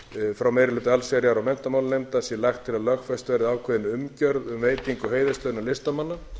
frá meiri hluta allsherjar og menntamálanefndar sé lagt til að lögfest verði ákveðin umgjörð um veitingu heiðurslauna listamanna